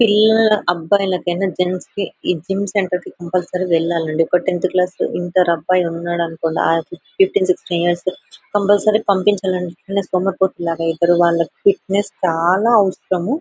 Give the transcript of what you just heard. పిల్లలు అబ్బాయికైనా జెంట్స్ కి ఈ జిం సెంటర్ కంప్యూల్సోరీ వెళ్ళండి ఒక టెన్త్ క్లాస్ ఇంటర్ అబ్బాయి ఉన్నాడు అనుకోండి ఫిఫ్టీన్ సిక్సటీన్ ఇయర్స్ కంప్యూల్సోరీ పంపించాలండి లేదంటే సోమరిపోతులాగా అయితారు వాళ్ళకి ఫిట్నెస్ చాల అవసరము .